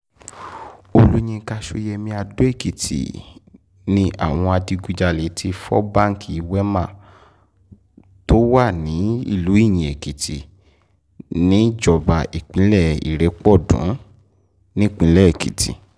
olùyinka ṣọ́yẹ́mi adó-èkìtì àwọn adigunjalè ti fọ́ báńkì wemá tó wà nílùú iyin-èkìtì níjọba ìbílẹ̀ ìrépọ̀dùnìfẹ́lọ́dún nípínlẹ̀ èkìtì